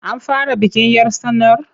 An fara bikin 'yar tsanar?